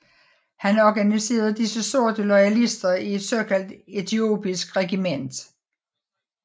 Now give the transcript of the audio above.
Han organiserede disse sorte loyalister i et såkaldt etiopisk regiment